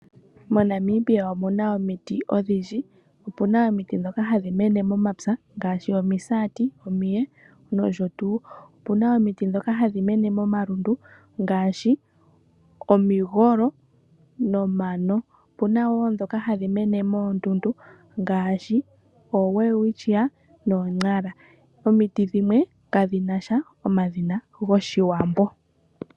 MoNamibia omuna omiti odhindji, opuna omiti ndhoka hadhi mene momapya ngaashi omisati, omiye noshotuu. Opuna omiti ndhoka hadhi mene momalundu ngaashi omigolo nomano. Opuna woo ndhoka hadhi mene moondundu ngaashi Welwitsia nooNara. Omiti dhimwe kadhinasha omadhina gOshiwambo.